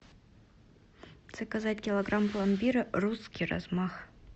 заказать килограмм пломбира русский размах